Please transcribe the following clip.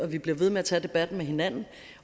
vi bliver ved med at tage debatten med hinanden